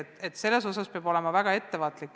Nii et selles osas peab olema väga ettevaatlik.